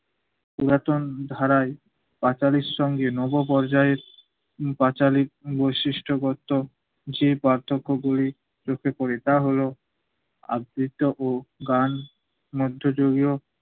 পুরাতন ধারায় পাঁচালীর সঙ্গে নব পর্যায়ের পাঁচালী বৈশিষ্ট করতো যে পার্থক্যগুলি চোখে পড়ে তা হলো আবৃত্ত ও গান মধ্যযুগীয়